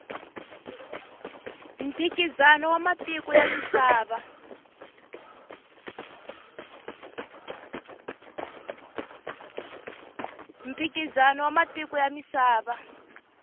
mphikizano wa matiko ya misava